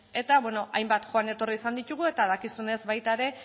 eta beno hainbat joan etorri izan ditugu eta dakizunez baita ere